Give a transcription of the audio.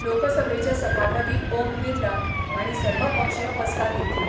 लोकसभेचे सभापती ओम बिर्ला हांणी सर्वपक्षीय बसका घेतली.